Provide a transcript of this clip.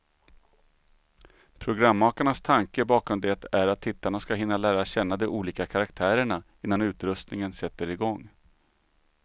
Programmakarnas tanke bakom det är att tittarna ska hinna lära känna de olika karaktärerna, innan utröstningen sätter igång.